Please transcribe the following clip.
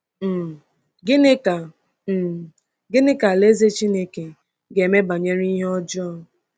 um Gịnị ka um Gịnị ka Alaeze Chineke ga-eme banyere ihe ọjọọ?